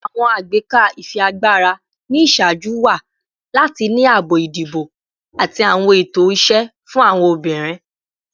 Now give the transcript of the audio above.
Awọn agbeka ifiagbara ni iṣaaju wa lati ni aabo idibo ati awọn ẹtọ iṣẹ fun awọn obinrin